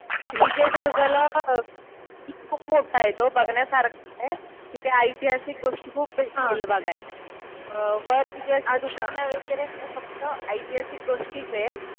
विजयदुर्गला खूप मोठा आहे तो. बघण्यासारखा आहे. तिथे ऐतिहासिक गोष्टी खूप भेटतील बघायला. वर तिथे असे दुकानं वगैरे नाहीये. फक्त ऐतिहासिक गोष्टीच आहेत.